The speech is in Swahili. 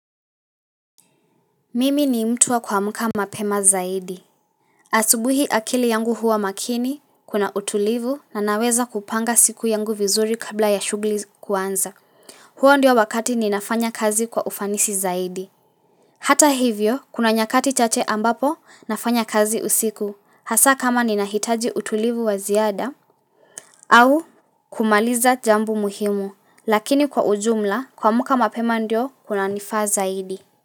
Mimi ni mtuwa kwa muka mapema zaidi asubuhi akili yangu huwa makini kuna utulivu na naweza kupanga siku yangu vizuri kabla ya shugli kuanza huo ndio wakati ninafanya kazi kwa ufanisi zaidi Hata hivyo kuna nyakati chache ambapo nafanya kazi usiku hasa kama ninahitaji utulivu wa ziada au kumaliza jambo muhimu lakini kwa ujumla kwa muka mapema ndio kuna nifaa zaidi.